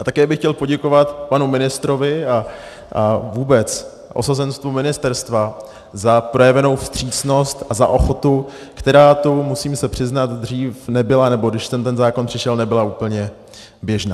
A také bych chtěl poděkovat panu ministrovi a vůbec osazenstvu ministerstva za projevenou vstřícnost a za ochotu, která tu, musím se přiznat, dřív nebyla, nebo když sem ten zákon přišel, nebyla úplně běžná.